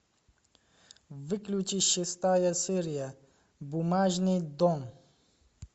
включи шестая серия бумажный дом